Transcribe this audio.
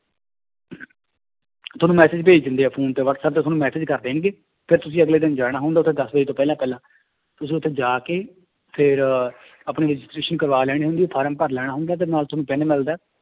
ਤੁਹਾਨੂੰ message ਭੇਜ ਦਿੰਦੇ ਹੈ phone ਤੇ ਵਾਟਸੈਪ ਤੇ ਤੁਹਾਨੂੰ message ਕਰ ਦੇਣਗੇ, ਫਿਰ ਤੁਸੀਂ ਅਗਲੇ ਦਿਨ ਜਾਣਾ ਹੁੰਦਾ ਉੱਥੇ ਦਸ ਵਜੇ ਤੋਂ ਪਹਿਲਾਂ ਪਹਿਲਾਂ ਤੁਸੀਂ ਉੱਥੇ ਜਾ ਕੇ ਫਿਰ ਆਪਣੀ registration ਕਰਵਾ ਲੈਣੀ ਹੁੰਦੀ ਹੈ form ਭਰ ਲੈਣਾ ਹੁੰਦਾ ਤੇ ਨਾਲ ਤੁਹਾਨੂੰ ਪੈਨ ਮਿਲਦਾ ਹੈ